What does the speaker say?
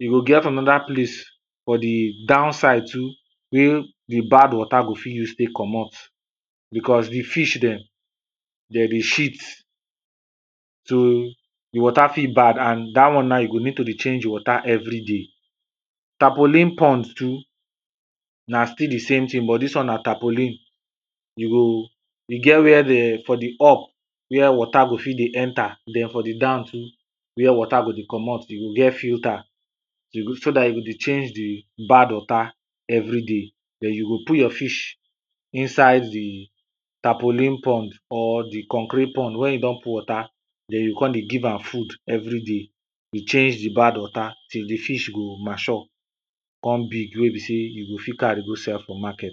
e go get another place for di down side too, wey water go fit use take komot, because di fish dem, dem dey shit so di water fit bad and dat one na you go need to dey change di water every day. Tapolene pond too, na still di same thing but dis one na tapolene. you go e get where dem for di up, where water go fit dey enter den from di down too, where water to komot e go get filter so dat e go dey change di bad water every day, den you go put your fish inside di tapolene pond or di concrete pond wen you don put water, den you go come dey give am food every day dey change di bad water till di fish go mature come big wen be sey you go fit carry go sell for market.